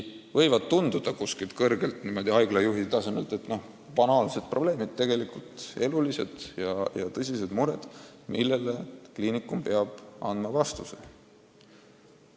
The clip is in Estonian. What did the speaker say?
Kuskilt kõrgelt, haiglajuhi tasemelt vaadates võivad need tunduda banaalsed probleemid, aga tegelikult on elulised ja tõsised mured, millele kliinikum peab andma vastused.